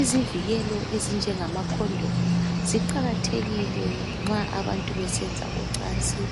Izivikelo ezinje ngamacondomu ziqakathekile nxa abantu besenza ucansi